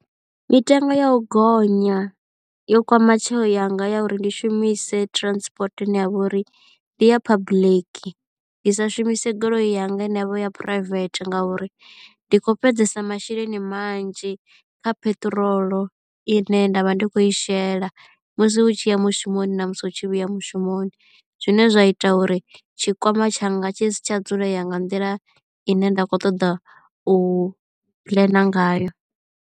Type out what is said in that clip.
Mitengo ya u gonya yo kwama tsheo yanga ya uri ndi shumise transport ine ya vha uri ndi ya public ndi sa shumise goloi yanga ine yavha ya private ngauri ndi kho fhedzesa masheleni manzhi kha peṱirolo i ne nda vha ndi khou i shela musi u tshi ya mushumoni na musi hu tshi vhuya mushumoni zwine zwa ita uri tshikwama tshanga tshi si tsha dzulea nga nḓila i ne nda khou ṱoḓa u puḽena ngayo.